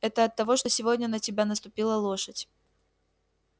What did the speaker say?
это оттого что сегодня на тебя наступила лошадь